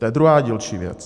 To je druhá dílčí věc.